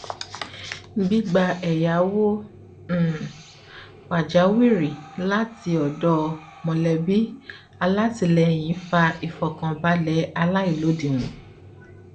gbígba ẹyáwó um pàjáwìrì láti ọdọ mọlẹbí alátìlẹyìn fa ìfọkànbalẹ aláìlódiwọn